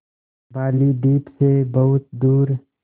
बालीद्वीप सें बहुत दूर